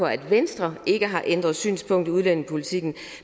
at venstre ikke har ændret synspunkt i udlændingepolitikken